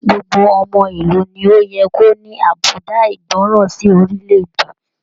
Gbogbo ọmọ ìlú ní o yẹ ko ní àbùdá ìgbọràn sí orilẹ-èdè.